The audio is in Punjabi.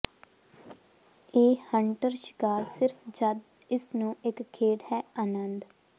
ਇਹ ਹੰਟਰ ਸ਼ਿਕਾਰ ਸਿਰਫ ਜਦ ਇਸ ਨੂੰ ਇੱਕ ਖੇਡ ਹੈ ਆਨੰਦ